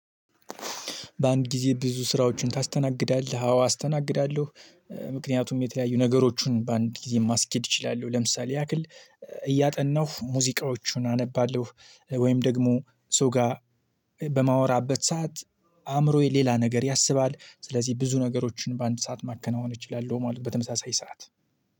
በአንድ ጊዜ ብዙ ስራዎችን ታስተናግዳለህ? አዎ አስተናግዳለሁ ምክንያቱም የተያዩ ነገሮችን በአንድ ጊዜ ማስኬድ እችላለሁ። ለምሳሌ ያክል እያጠናሁ ሙዚቃዎቹን አነባለሁ። ወይም ደግሞ ሰው ጋር በማወራበት ሰዓት አእምሮዬ ሌላ ነገር ያስባል። ስለዚህ ብዙ ነገሮችን በአንድ ሰዓት ማከናወን እችላለሁ ማለት በተመሳሳይ ሰዓት